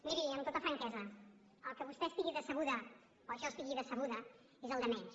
miri amb tota franquesa que vostè estigui decebuda o jo estigui decebuda és el de menys